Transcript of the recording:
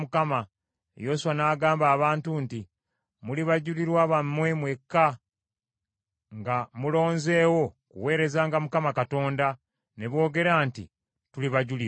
Yoswa n’agamba abantu nti, “Muli bajulirwa bammwe mwekka nga mulonzeewo kuweerezanga Mukama Katonda.” Ne boogera nti, “Tuli bajulirwa.”